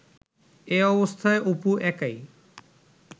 এ অবস্থায় অপু একাই